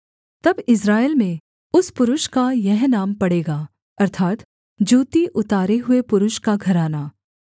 तब इस्राएल में उस पुरुष का यह नाम पड़ेगा अर्थात् जूती उतारे हुए पुरुष का घराना